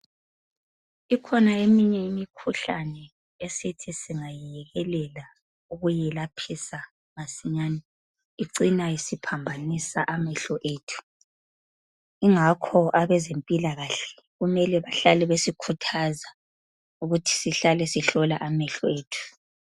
Ikhona eminye imikhuhlane esithi singayi yekelela ukuyelaphisa masinyane icine isiphambanisa amehlo ethu yingakho abezempilakahle kumele bahlale besikhuthaza ukuthi sihlale sihlola amehko ethu.